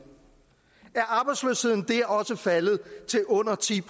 er også faldet til under ti